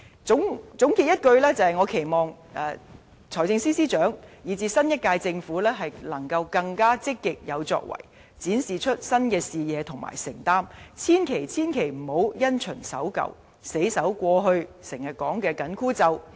總括來說，我期望財政司司長，以至新一屆政府更積極有為，展示新視野和承擔，千萬、千萬不要因循守舊，死守過去經常提到的"緊箍咒"。